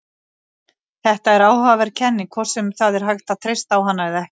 Þetta er áhugaverð kenning, hvort sem það er hægt að treysta á hana eða ekki.